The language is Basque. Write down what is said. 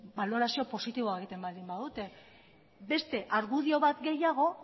balorazio positiboak egiten baldin badute beste argudio bat gehiago